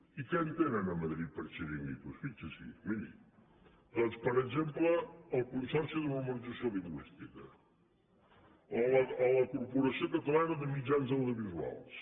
i què entenen a madrid per xiringuitos fixi’s hi miri doncs per exemple el consorci per a la normalització lingüística o la corporació catalana de mitjans audiovisuals